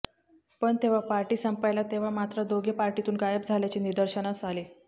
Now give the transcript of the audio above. पण जेव्हा पार्टी संपायला तेव्हा मात्र दोघे पार्टीतून गायब झाल्याचे निदर्शनास आले